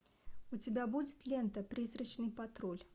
у тебя будет лента призрачный патруль